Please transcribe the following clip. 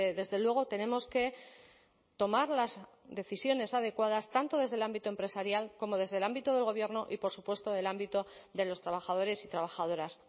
desde luego tenemos que tomar las decisiones adecuadas tanto desde el ámbito empresarial como desde el ámbito del gobierno y por supuesto del ámbito de los trabajadores y trabajadoras